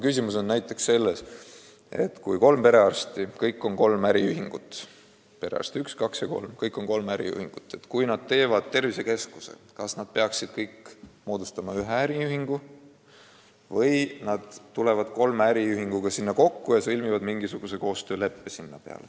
Küsimus on näiteks selles, et kui kolm perearsti, kes kõik tegutsevad äriühinguna – perearst 1, 2 ja 3 –, asutavad tervisekeskuse, kas nad peaksid siis kõik moodustama ühe äriühingu või tuleb seal kolm äriühingut kokku ja sõlmitakse mingisugune koostöölepe.